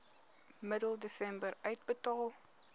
middel desember uitbetaal